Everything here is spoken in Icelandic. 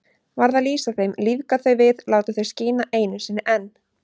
Varð að lýsa þeim, lífga þau við, láta þau skína einu sinni enn.